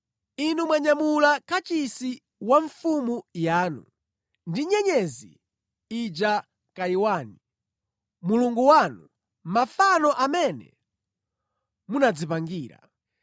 Inu mwanyamula kachisi wa mfumu yanu, ndi nyenyezi ija Kaiwani, mulungu wanu, mafano amene munadzipangira.